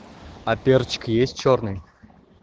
а перчик есть чёрный